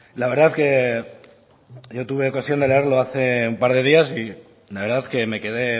la verdad que yo tuve ocasión de leerlo hace un par de días y la verdad que me quede